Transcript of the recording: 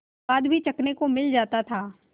स्वाद भी चखने को मिल जाता था